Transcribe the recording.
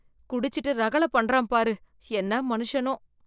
குடிச்சிட்டு ரகளை பன்றான் பாரு, என்ன மனுஷனோ.